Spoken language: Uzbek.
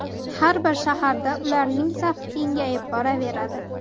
Har bir shaharda ularning safi kengayib boraveradi.